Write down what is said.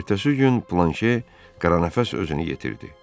Ertəsi gün Planşe qaranəfəs özünü yetirdi.